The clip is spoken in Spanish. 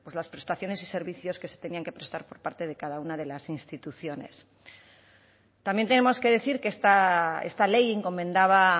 las prestaciones y servicios que se tenían que prestar por parte de cada una de las instituciones también tenemos que decir que esta ley encomendaba